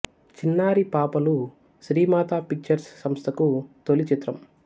చిన్నారి పాపలు శ్రీ మాతా పిక్చర్స్ సంస్థకు తొలి చిత్రం